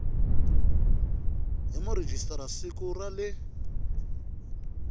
hi murhijisitara siku ra le